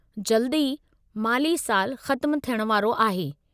जल्द ई माली सालु ख़त्मु थियण वारो आहे।